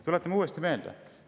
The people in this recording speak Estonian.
Tuletame uuesti meelde.